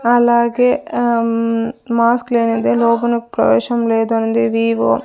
అలాగే ఉమ్ మాస్క్ లేనిదే లోపల ప్రవేశం లేదంది వివో.